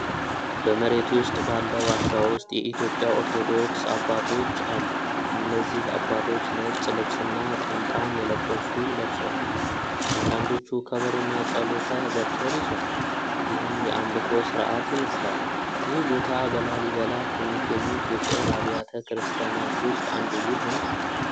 በመሬት ውስጥ ባለ ዋሻ ውስጥ የኢትዮጵያ ኦርቶዶክስ አባቶች አሉ። እነዚህ አባቶች ነጭ ልብስና ጥምጣም የለበሱ ለብሰዋል፣ አንዳንዶቹ ከበሮና ጸሎተ በትር ይዘዋል፣ ይህም የአምልኮ ሥርዓት ይመስላል። ይህ ቦታ በላሊበላ ከሚገኙት ውቅር አብያተ ክርስቲያናት ውስጥ አንዱ ይሆን?